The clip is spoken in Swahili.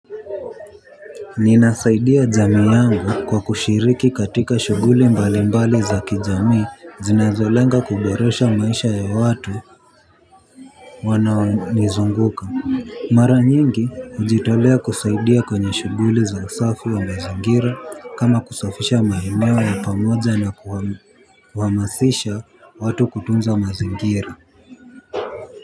Ninasaidia jamii yangu kwa kushiriki katika shughuli mbali mbali za kijamii zinazolenga kuboresha maisha ya watu wanaonizunguka. Mara nyingi hujitolea kusaidia kwenye shughuli za usafi wa mazingira kama kusafisha maeneo ya pamoja na kuhamasisha watu kutunza mazingira.